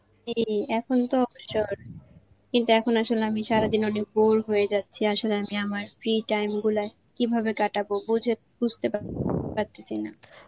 জী এখন তো কিন্তু এখন আসলে আমি সারাদিনে অনেক bore হয়ে যাচ্ছি আসলে আমি আমার free time গুলা কীভাবে কাটাবো বুঝে~ বুঝতে পারি~ পারতেছিনা.